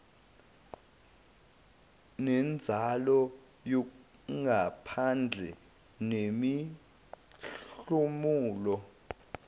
nenzalo yangaphandle nemihlomulo